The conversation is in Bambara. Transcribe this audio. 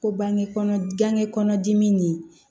Ko bangekɔlɔ gange kɔnɔdimi nin